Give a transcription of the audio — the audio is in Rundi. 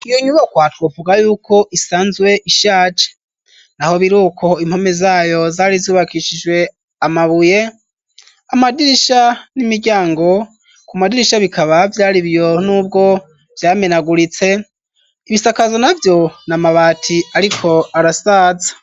Iyo nyubakwa twovuga y'uko isanzwe ishaje ,naho biri uko impome zayo zari zubakishijwe amabuye, amadirisha n'imiryango, ku madirisha bikaba vyaribiyo n'ubwo vyamenaguritse, ibisakazo na vyo n'amabati ariko arasaza.